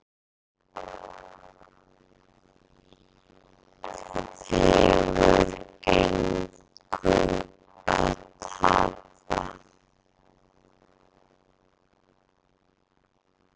Það hefur engu að tapa